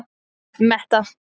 Metta